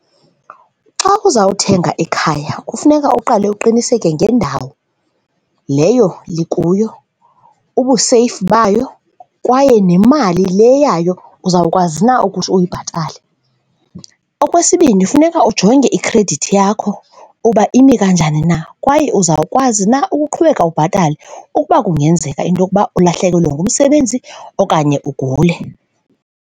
Xa uzawuthenga ikhaya kufuneka uqale uqiniseke ngendawo leyo likuyo, ubuseyifu bayo kwaye nemali le yayo uzawukwazi na ukuthi uyibhatale. Okwesibini, funeka ujonge ikhredithi yakho uba ime kanjani na kwaye uzawukwazi na ukuqhubeka ubhatale ukuba kungenzeka into yokuba ulahlekelwe ngumsebenzi okanye ugule.